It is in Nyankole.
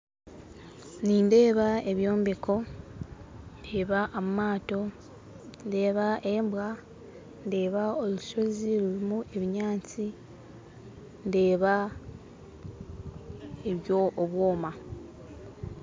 Nindeeba ebyombeko ndeeba amaato ndeeba embwa ndeeba rushoozi rurimu ebinyaatsi ndeeba obwoma